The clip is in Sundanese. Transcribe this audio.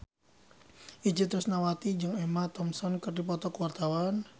Itje Tresnawati jeung Emma Thompson keur dipoto ku wartawan